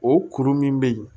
O kuru min bɛ yen